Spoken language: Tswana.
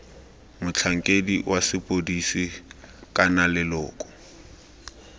motlhankedi wa sepodisi kana leloko